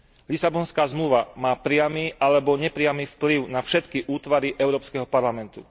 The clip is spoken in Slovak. Lisabonská zmluva má priamy alebo nepriamy vplyv na všetky útvary Európskeho parlamentu.